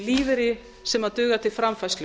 lífeyri sem dugar til framfærslu